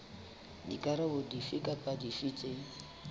dikarolo dife kapa dife tse